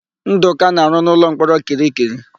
Ndụka na-arụ n'ụlọmkpọrọ Kirikiri.